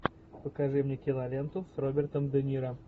покажи мне киноленту с робертом де ниро